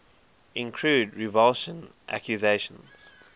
include revulsion accusations